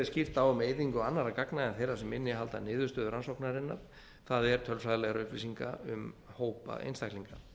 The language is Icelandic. skýrt á um eyðingu annarra gagna en þeirra sem innihalda niðurstöður rannsóknarinnar það er tölfræðilegar upplýsingar um hópa einstaklinga